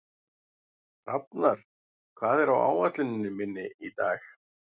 Hrafnar, hvað er á áætluninni minni í dag?